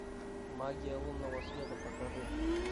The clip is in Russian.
магия лунного света покажи